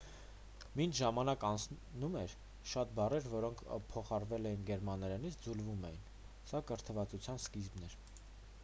մինչ ժամանակն անցնում էր շատ բառեր որոնք փոխառվել էին գերմաներենից ձուլվում էին սա կրթվածության սկիզբն էր